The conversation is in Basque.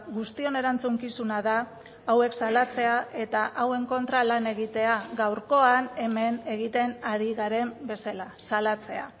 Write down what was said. guztion erantzukizuna da hauek salatzea eta hauen kontra lan egitea gaurkoan hemen egiten ari garen bezala salatzea